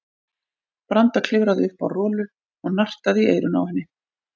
Branda klifraði upp á Rolu og nartaði í eyrun á henni.